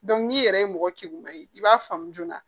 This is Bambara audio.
n'i yɛrɛ ye mɔgɔ kilengu ye i b'a faamu joona